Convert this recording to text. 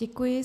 Děkuji.